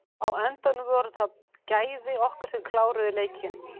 Á endanum voru það gæði okkar sem kláruðu leikinn.